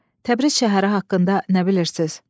Təbriz şəhəri haqqında nə bilirsiz?